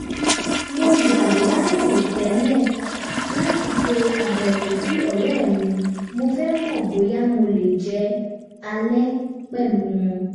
mo yà láìròtẹ́lẹ̀ láti ṣe àbẹ̀wò sí ọ̀rẹ́ mi mo fẹ́ mọ bóyá mo lè jẹ alẹ́ pẹ̀lú wọn